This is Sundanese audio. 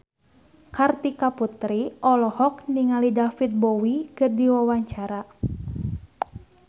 Kartika Putri olohok ningali David Bowie keur diwawancara